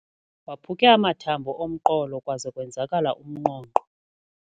Waphuke amathambo omqolo kwaze kwenzakala umnqonqo.